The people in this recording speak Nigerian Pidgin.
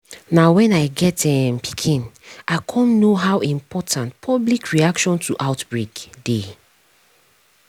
na when i get um pikin i cum know how important public reaction to outbreak dey